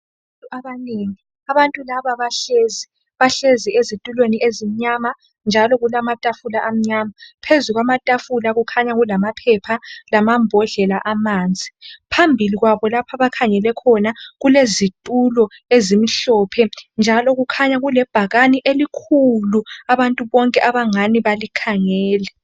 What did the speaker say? Abantu abanengi. Abantu laba bahlezi, bahlezi ezitulweni ezimnywama njalo kulamatafula amnyama. Phezu kwamatafula kukhanya kulamaphepha lamambodlela amanzi. Phambili kwabo abakhangele khona kulezitulo ezimhlophe njalo kukhanya kulebhakani elikhulu abantu bonke abangale balikhangele